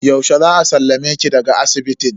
Yaushe za a sallame ki daga asibitin?